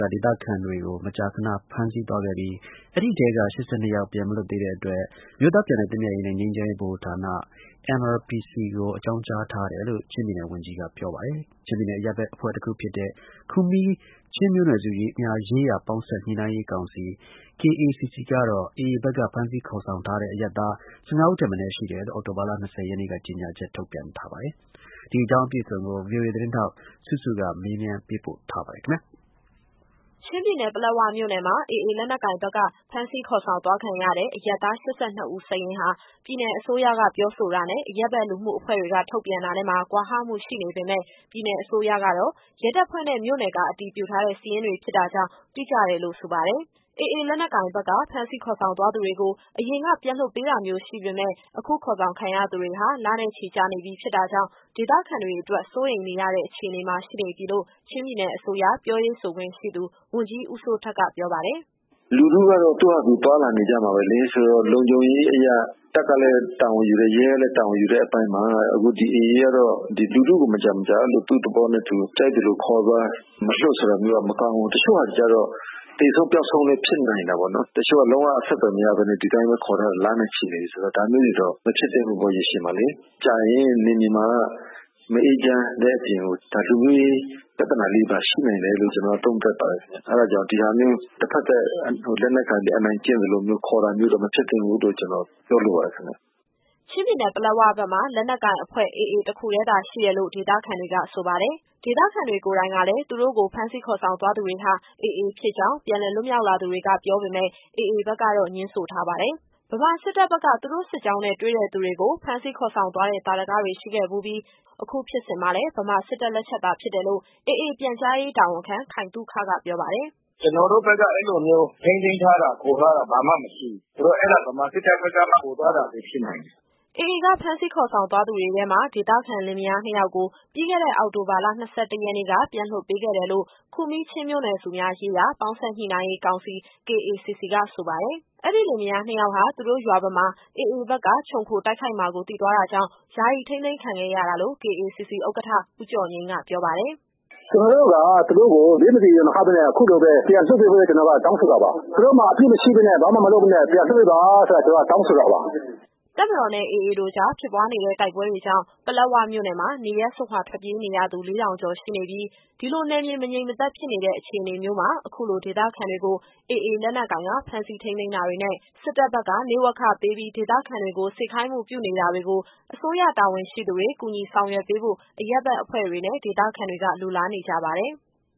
က ဒေသခံတွေကို မကြာခဏ ဖမ်းဆီးသွားခဲ့ပြီး အဲဒီထဲက ၈၂ ယောက်ပြန်မလွတ်သေးတဲ့ အတွက် အမျိုးသားပြန်လည်သင့်မြတ်ရေးနဲ့ ငြိမ်းချမ်းရေးဗဟိုဌာန NRPC ကို အကြောင်းကြားထားတယ်လို့ ချင်းပြည်နယ် ဝန်ကြီးကပြောပါတယ်။ ချင်းပြည်နယ်အရပ်ဘက် အဖွဲ့တခုဖြစ်တဲ့ ခူမီးချင်းမျိုးနွယ်စုများရေးရာ ပေါင်းစပ်ညှိနှိုင်းရေးကောင်စီ KACC ကတော့ AA ဘက်က ဖမ်းဆီးခေါ်ဆောင်ထားတဲ့ အရပ်သား ၁၅ဦးထက်မနည်း ရှိတယ်လို့ အောက်တိုဘာလ ၂၀ရက်နေ့က ကြေညာချက် ထုတ်ပြန်ထားပါတယ်။ ဒီအကြောင်းအပြည့်အစုံကို ဗွီအိုအေသတင်းထောက် စုစုကမေးမြန်း ပေးပို့ထားပါတယ်။ ချင်းပြည်နယ်၊ ပလက်ဝမြို့နယ်မှာ AAလက်နက်ကိုင်ဘက်က ဖမ်းဆီးခေါ်ဆောင်သွားခံရတဲ့ အရပ်သား ၈၂ ဦးစာရင်းဟာ ပြည်နယ်အစိုးရက ပြောဆိုတာနဲ့၊ အရပ်ဘက်လူမှုအဖွဲ့တွေက ထုတ်ပြန်တာနဲ့မှာ ကွာဟမှုရှိနေပေမယ့်ပြည်နယ်အစိုးရကတော့ ရဲတပ်ဖွဲ့နဲ့ မြို့နယ်က အတည်ပြုထားတဲ့ စာရင်းတွေဖြစ်တာကြောင့် တိကျတယ်လို့ ဆိုပါတယ်။ AA လက်နက်ကိုင်ဘက်က ဖမ်းဆီးခေါ်ဆောင်သွားသူတွေကို အရင်က ပြန်လွှတ်ပေးတာမျိုးရှိပေမယ့် အခုခေါ်ဆောင်ခံရသူတွေဟာ လနဲ့ချီကြာနေပြီဖြစ်တာကြောင့် ဒေသခံတွေအတွက် စိုးရိမ်ရတဲ့အခြေအနေမှာ ရှိနေပြီလို့ ချင်းပြည်နယ်အစိုးရ ပြောရေးဆိုခွင့်ရှိသူ ဝန်ကြီးဦးစိုးထက်က ပြောပါတယ်။ “လူထုကတော့ သူ့ဟာသူသွားလာနေကြမှာပဲလေ။ ဆိုတော့ လုံခြုံရေးအရ တပ်ကလည်း တာဝန်ယူတယ်။ ရဲကလည်း တာဝန်ယူတဲ့အပိုင်းမှာ အခု ဒီ AA ကတော့ ဒီလူထုကို မကြာမကြာ အဲလိုသူ့သဘောနဲ့သူ ကြိုက်သလိုခေါ်သွား၊ မလွှတ်ဆိုတာမျိုးက မကောင်းဘူး။ တချို့ဟာတွေကျတော့ သေဆုံး၊ ပျောက်ဆုံးလည်း ဖြစ်နိုင်တာပေါ့နော်။ တချို့က လုံးဝအဆက်အသွယ်မရဘဲနဲ့ ဒီတိုင်းပဲခေါ်ထားတာ လနဲ့ချီနေပြီဆိုတော့ ဒါမျိုးတွေတော့ မဖြစ်သင့်ဘူးပေါ့ ရေရှည်မှာလေ။ ကြာရင် နယ်မြေမှာက မအေးချမ်းတဲ့အပြင်ကို ဒါလူမျိုးရေးပြဿနာလေးတွေပါ ရှိနိုင်တယ်လို့ ကျတော်ကတော့ သုံးသပ်ပါတယ်ခင်ဗျ။ အဲဒါကြောင့် ဒီဟာမျိုး တဖက်သတ် လက်နက်ကိုင်ပြီး အနိုင်ကျင့်သလိုမျိုး ခေါ်တာမျိုးတော့ မဖြစ်သင့်ဘူးလို့ ကျတော်ပြောလိုပါတယ်ခင်ဗျ။” ချင်းပြည်နယ်၊ ပလက်ဝဘက်မှာ လက်နက်ကိုင်အဖွဲ့ AA တခုတည်းသာရှိတယ်လို့ ဒေသခံတွေက ဆိုပါတယ်။ ဒေသခံတွေကိုယ်တိုင်ကလည်း သူတို့ကို ဖမ်းဆီးခေါ်ဆောင်သွားသူတွေဟာ AA ဖြစ်ကြောင်းပြန်လည်လွတ်မြောက်လာသူတွေက ပြောပေမယ့် AA ဘက်ကတော့ ငြင်းဆိုထားပါတယ်။ ဗမာစစ်တပ်က သူတို့စစ်ကြောင်းနဲ့ တွေ့တဲ့သူတွေကို ဖမ်းဆီးခေါ်ဆောင်သွားတဲ့ သာဓကတွေ ရှိခဲ့ဖူးပြီး၊ အခုဖြစ်စဉ်မှာလည်း ဗမာစစ်တပ်လက်ချက်သာဖြစ်တယ်လို့ AA ပြန်ကြားရေးတာဝန်ခံ ခိုင်သုခ က ပြောပါတယ်။ “ကျတော်တို့ဘက်က အဲလိုမျိုး ထိန်းသိမ်းထားတာ၊ ခေါ်ထားတာ ဘာမှမရှိဘူး။ ဆိုတော့ အဲဒါ ဗမာစစ်တပ်ဘက်က ခေါ်သွားတာပဲ ဖြစ်နိုင်တယ်။” AA ကဖမ်းဆီးခေါ်ဆောင်သွားသူတွေထဲမှာ ဒေသခံလင်မယားနှစ်ယောက်ကို ပြီးခဲ့တဲ့ အောက်တိုဘာလ ၂၁ရက်နေ့က ပြန်လွှတ်ပေးခဲ့တယ်လို့ ခူမီးချင်းမျိုးနွယ်စုများရေးရာ ပေါင်းစပ်ညှိနှိုင်းရေးကောင်စီ KACC က ဆိုပါတယ်။ အဲဒီလင်မယားနှစ်ယောက်ဟာ သူတို့ရွာဘက်မှာ AAဘက်က ချုံခိုတိုက်ခိုက်မှာကို သိသွားတာကြောင့် ယာယီထိန်းသိမ်းခံခဲ့ရတာလို့ KACC ဥက္ကဋ္ဌ ဦးကျော်ငြိမ်းက ပြောပါတယ်။ “ကျတော်တို့က သူတို့ကို ဘေးမသီ ရန်မခဘဲနဲ့ အခုလိုပဲ ပြန်လွှတ်ပေးဖို့အတွက် ကျတော်တို့က တောင်းဆိုတာပါ။ သူတို့မှာ အပြစ်မရှိဘဲနဲ့ ဘာမှမလုပ်ဘဲနဲ့ ပြန်လွှတ်ပေးပါဆိုတာ ကျတော်တို့က တောင်းဆိုတာပါ။” တပ်မတော်နဲ့ AA တို့ကြား ဖြစ်ပွားနေတဲ့ တိုက်ပွဲတွေကြောင့် ပလက်ဝမြို့နယ်မှာ နေရပ်စွန့်ခွာ ထွက်ပြေးနေရသူ ၄၀၀၀ ကျော်ရှိနေပြီး၊ ဒီလိုနယ်မြေ မငြိမ်မသက်ဖြစ်နေတဲ့ အခြေအနေမျိုးမှာ အခုလို ဒေသခံတွေကို AA လက်နက်ကိုင်က ဖမ်းဆီးထိန်းသိမ်းတာတွေနဲ့ စစ်တပ်ဘက်က နေ့ဝက်ခပေးပြီး ဒေသခံတွေကို စေခိုင်းမှုပြုနေတာတွေကို အစိုးရတာဝန်ရှိသူတွေ ကူညီဆောင်ရွက်ပေးဖို့ အရပ်ဘက်အဖွဲ့တွေနဲ့ ဒေသခံတွေက လိုလားနေကြပါတယ်။